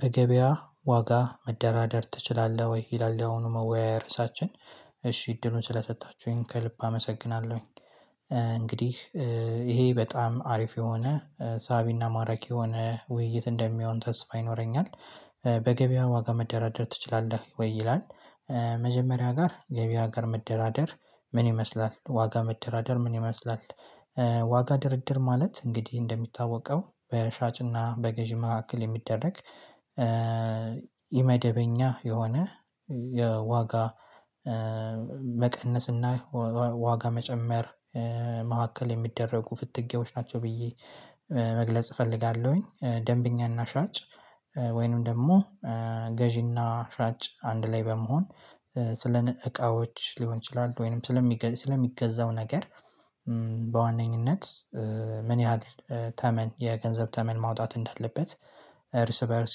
በገበያ ዋጋ መደራደር ትችላለህ? ወይ ይላል ያየአሁኑ መወያያ እርዕሳችን እሺ እድሉን ስለሰጣችሁኝ ከልብ አመሰግናለሁኝ። እንግዲህ ይሄ በጣም አሪፍ የሆነ ሳቢና ማራኪ የሆነ ውይይት እንደሚሆን ተስፋ ይኖረኛል። በገበያው ዋጋ መደራደር ትችላለህ ወይ ይላል? መጀመሪያ ጋር ገበያ ጋር መደራደር ምን ይመስላል ዋጋ መደራደር ምን ይመስላል? ዋጋ ድርድር ማለት እንግዲህ እንደሚታወቀው በሻጭና በገዢ መካከል የሚደረግ ኢ መደበኛ የሆነ የዋጋ መቀነስና ዋጋ መጨመር መካከል የሚደረጉ ፍትጊያዎች ናቸው ብዬ መግለጽ እፈልጋለሁኝ። ደንበኛና ሻጭ ወይንም ደግሞ ገዢና ሻጭ አንድ ላይ በመሆን ስለ እቃዎች ሊሆን ይችላል ወይንም ስለሚገዛው ነገር በዋነኝነት ምን ያህል ተመን የገንዘብ ተመን ማውጣት እንዳለበት እርስ በእርስ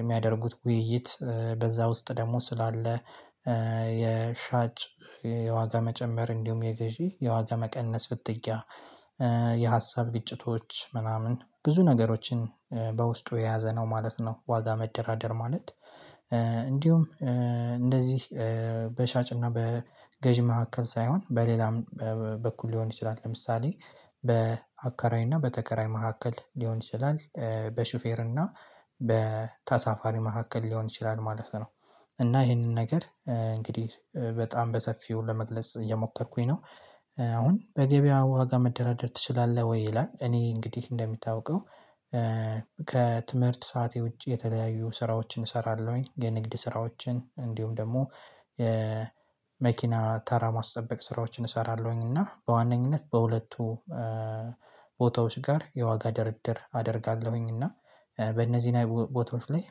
የሚያደርጉት ውይይት በዛ ውስጥ ደግሞ ስላለ የሻጭ የዋጋ መጨመር እንዲሁም የገዢ የዋጋ መቀነስ ፍትጊያ የሀሳብ ግጭቶች ምናምን ብዙ ነገሮችን በውስጡ የያዘ ነው ማለት ነው። ዋጋ መደራደር ማለት። እንዲሁም እንደዚህ በሻጭና በገዢ መካከል ሳይሆን በሌላም በኩል ሊሆን ይችላል ለምሳሌ በአከራይ እና በተከራይ መካከል ሊሆን ይችላል በሹፌር እና በተሳፋሪ መካከል ሊሆን ይችላል ማለት ነው። እና ይሄንን ነገር እንግዲህ በጣም በሰፊው ለመግለጽ እየሞከርኩኝ ነው። አሁን በገበያ ዋጋ መደራደር ትችላለህ ወይ ይላል? እኔ እንግዲህ እንደሚታወቀው ከትምህርት ሰዓቴ ውጪ የተለያዩ ስራዎችን እሰራለሁኝ የንግድ ስራዎችን እንዲሁም ደግሞ የመኪና ተራ ማስጠበቅ ስራዎችን እሰራለሁኝ እና በዋነኝነት በሁለቱ ቦታዎች ጋር የዋጋ ድርድር አደርጋለሁኝ። እና በእነዚህ ቦታዎች ላይ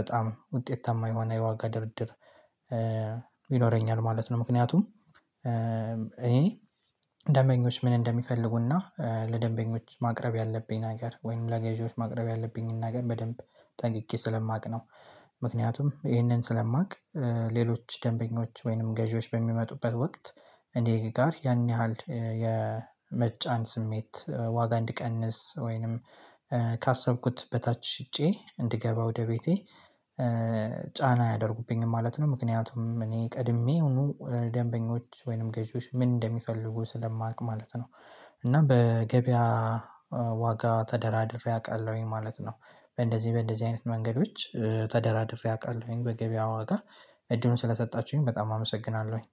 በጣም ውጤታማ የሆነ የዋጋ ድርድር ይኖረኛል ማለት ነው። ምክንያቱም እኔ ደንበኞች ምን እንደሚፈልጉና ለደንበኞች ማቅረብ ያለብኝ ነገር ወይም ለገዢዎች ማቅረብ ያለብኝን ነገር በደንብ ጠንቅቄ ስለማውቅ ነው። ምክንያቱም ይሄንን ስለማውቅ ሌሎች ደንበኞች ወይንም ገዢዎች በሚመጡበት ወቅት እኔ ጋር ያን ያህል የመጫን ስሜት ዋጋ እንድቀንስ ወይንም ካሰብኩት በታች ሽጬ እንድገባ ወደ ቤቴ ጫና አያደርጉብኝም ማለት ነው። ምክንያቱም እኔ ቀድሜ የሆኑ ደንበኞች ወይንም ገዢዎች ምን እንደሚፈልጉ ስለማውቅ ማለት ነው። እና በገበያ ዋጋ ተደራድሬ አውቃለሁኝ ማለት ነው። በእንደዚህ በእንደዚህ አይነት መንገዶች ተደራድሬ አውቃለሁኝ በገበያው ዋጋ እድሉን ስለሰጣችሁኝ በጣም አመሰግናለሁኝ።